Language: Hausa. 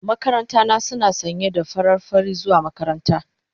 Makaranta na suna sanye da farar fari zuwa makaranta.